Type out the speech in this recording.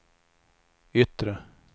yttre